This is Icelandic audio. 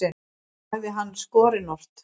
sagði hann skorinort.